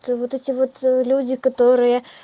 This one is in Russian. и вот эти вот люди которые